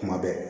Kuma bɛɛ